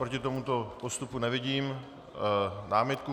Proti tomuto postupu nevidím námitku.